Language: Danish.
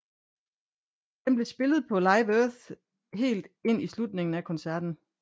Den blev spillet på Live Earth helt i slutningen af koncerten